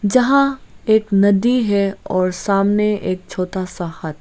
जहां एक नदी है और सामने एक छोटा सा हट ।